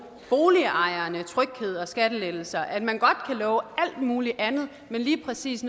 boligejerne tryghed og skattelettelser og at man godt kan love alt muligt andet men lige præcis